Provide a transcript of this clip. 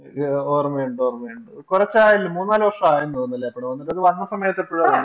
ഓർമയുണ്ട് ഓർമയുണ്ട് കുറച്ചായല്ലോ മൂന്നാലു വർഷമായാണ് തോന്നുന്നല്ലേ ആ പടം വന്നിട്ട് ഒരു വന്ന സമയത്തു എപ്പോഴോ കണ്ടതാ